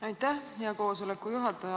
Aitäh, hea juhataja!